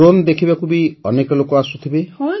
drone ଦେଖିବାକୁ ବି ଅନେକ ଲୋକ ଆସୁଥିବେ